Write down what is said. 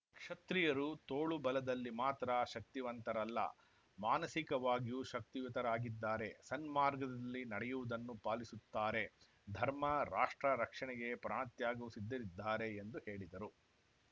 ಕ್ಷತ್ರಿಯರು ತೋಳುಬಲದಲ್ಲಿ ಮಾತ್ರ ಶಕ್ತಿವಂತರಲ್ಲ ಮಾನಸಿಕವಾಗಿಯೂ ಶಕ್ತಿಯುತರಾಗಿದ್ದಾರೆ ಸನ್ಮಾರ್ಗದಲ್ಲಿ ನಡೆಯುವುದನ್ನು ಪಾಲಿಸುತ್ತಾರೆ ಧರ್ಮ ರಾಷ್ಟ್ರ ರಕ್ಷಣೆಗೆ ಪ್ರಾಣತ್ಯಾಗಕ್ಕೂ ಸಿದ್ಧರಿದ್ದಾರೆ ಎಂದು ಹೇಳಿದರು